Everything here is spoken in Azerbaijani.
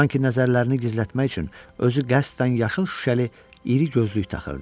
Sanki nəzərlərini gizlətmək üçün özü qəsdən yaşıl şüşəli iri gözlük taxırdı.